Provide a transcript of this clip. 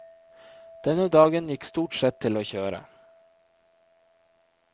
Denne dagen gikk stort sett til å kjøre.